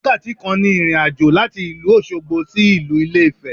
Wákàtí kan ni ìrìnàjò láti ìlú Òsogbo sí ìlú Ilé Ifè